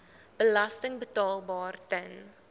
belasting betaalbaar ten